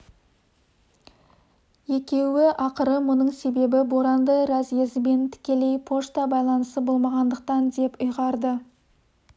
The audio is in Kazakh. екеуі ақыры мұның себебі боранды разъезімен тікелей пошта байланысы болмағандықтан деп ұйғарды